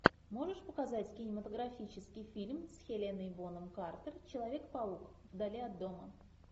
можешь показать кинематографический фильм с хеленой бонем картер человек паук вдали от дома